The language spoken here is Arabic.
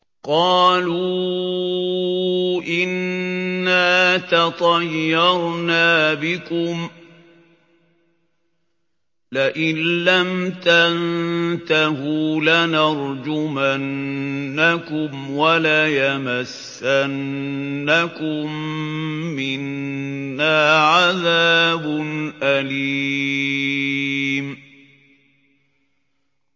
قَالُوا إِنَّا تَطَيَّرْنَا بِكُمْ ۖ لَئِن لَّمْ تَنتَهُوا لَنَرْجُمَنَّكُمْ وَلَيَمَسَّنَّكُم مِّنَّا عَذَابٌ أَلِيمٌ